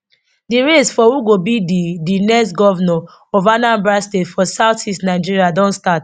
di race for who go be di di next govnor of anambra state for southeast nigeria don start